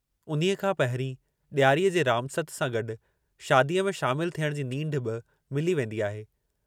उन्हीअ खां पहिरीं ॾियारीअ जी रामसत सां गॾु शादीअ में शामिल थियण जी नींढ बि मिली वेंदी आहे।